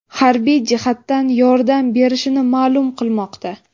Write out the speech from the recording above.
harbiy jihatdan yordam bershini ma’lum qilmoqda.